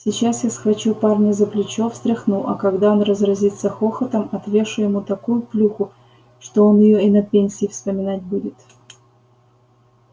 сейчас я схвачу парня за плечо встряхну а когда он разразится хохотом отвешу ему такую плюху что он её и на пенсии вспоминать будет